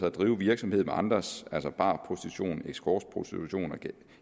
at drive virksomhed med andre altså barprostitution escortprostitution